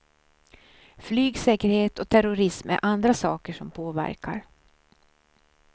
Flygsäkerhet och terrorism är andra saker som påverkar.